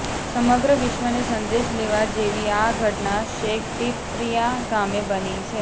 સમગ્ર વિશ્વને સંદેશ લેવા જેવી આ ઘટના શેખપીપરિયા ગામે બની છે